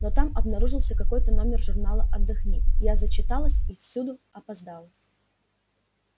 но там обнаружился какой-то номер журнала отдохни я зачиталась и всюду опоздала